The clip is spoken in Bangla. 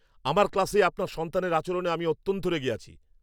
আমার ক্লাসে আপনার সন্তানের আচরণে আমি অত্যন্ত রেগে আছি!